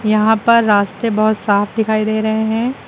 यहां पर रास्ते बहुत साफ दिखाई दे रहे हैं।